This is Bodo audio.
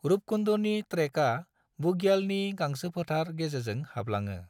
रूपकुंडनि ट्रेकआ बुग्यालनि गांसोफोथार गेजेरजों हाबलाङो।